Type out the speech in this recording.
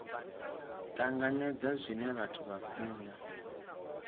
tanganedza zwine vhathu vha funa